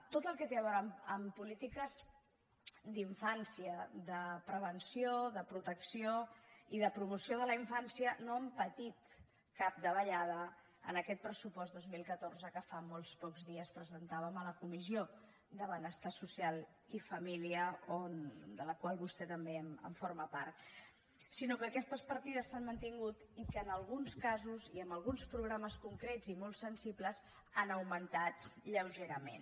tot el que té a veure amb polítiques d’infància de prevenció de protecció i de promoció de la infància no han patit cap davallada en aquest pressupost dos mil catorze que fa molt pocs dies presentàvem a la comissió de benestar social i família de la qual vostè també forma part sinó que aquestes partides s’han mantingut i que en alguns casos i en alguns programes concrets i molt sensibles han augmentat lleugerament